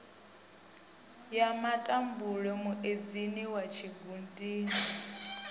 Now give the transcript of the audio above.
ya matambule muedzini wa tshikhudini